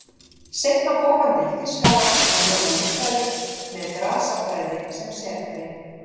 Seinna fór hann til Þýskalands að nema líffræði með grasafræði sem sérgrein.